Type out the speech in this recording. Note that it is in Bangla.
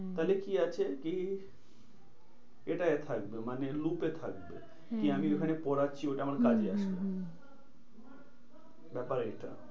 তাহলে কি আছে কি? এটা এ থাকবে মানে look এ থাকবে। কি হ্যাঁ হ্যাঁ আমি ওখানে পড়াচ্ছি ওটা হম হম হম আমার culture ব্যাপার এইটা।